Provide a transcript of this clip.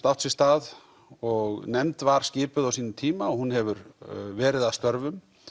átt sér stað og nefnd var skipuð á sínum tíma og hún hefur verið að störfum